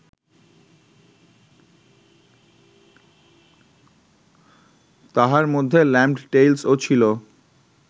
তাহার মধ্যে Lamb’d Tales ও ছিল